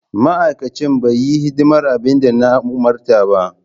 Ma'aikacin bai yi hidimar abin da na umarta ba.